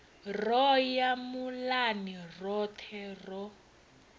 ro ya muḽani roṱhe ro